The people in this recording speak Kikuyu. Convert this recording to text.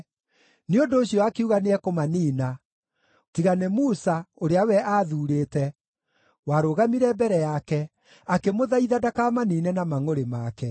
Nĩ ũndũ ũcio akiuga nĩekũmaniina, tiga nĩ Musa, ũrĩa we aathurĩte, warũgamire mbere yake, akĩmũthaitha ndakamaniine na mangʼũrĩ make.